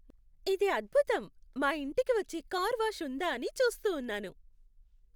ఇది అద్భుతం! మా ఇంటికి వచ్చే కార్ వాష్ ఉందా అని చూస్తూ ఉన్నాను.